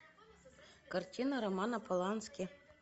картина романа полански